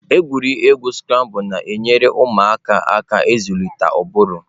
Egwuregwu Scrabble na-enyere ụmụaka aka ịzụlite ụbụrụ.